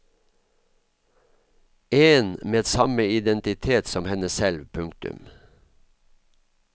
En med samme identitet som henne selv. punktum